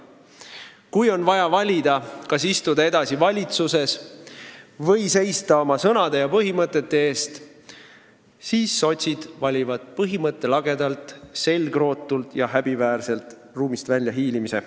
Kui on vaja valida, kas istuda edasi valitsuses või seista oma põhimõtete eest, siis sotsid valivad põhimõttelagedalt, selgrootult ja häbiväärselt ruumist välja hiilimise.